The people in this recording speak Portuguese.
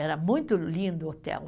Era muito lindo o hotel.